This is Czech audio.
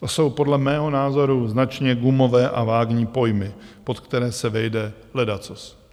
To jsou podle mého názoru značně gumové a vágní pojmy, pod které se vejde ledacos.